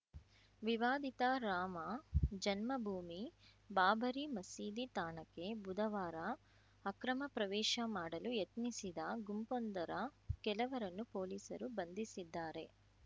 ವಿವಾದಿತ ರಾಮ ಜನ್ಮಭೂಮಿಬಾಬರಿ ಮಸೀದಿ ತಾಣಕ್ಕೆ ಬುಧವಾರ ಅಕ್ರಮ ಪ್ರವೇಶ ಮಾಡಲು ಯತ್ನಿಸಿದ ಗುಂಪೊಂದರ ಕೆಲವರನ್ನು ಪೊಲೀಸರು ಬಂಧಿಸಿದ್ದಾರೆ